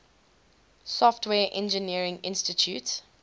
software engineering institute